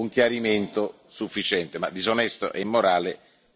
Woolfe io credo che questo sia un chiarimento sufficiente.